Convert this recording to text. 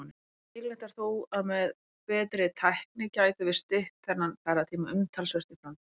Líklegt er þó að með betri tækni gætum við stytt þennan ferðatíma umtalsvert í framtíðinni.